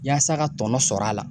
Yaasa ka tɔnɔ sɔr'a la